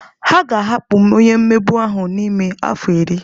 A ga-ahapụ onye mmegbu ahụ n'ime afọ iri.